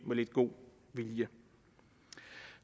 med lidt god vilje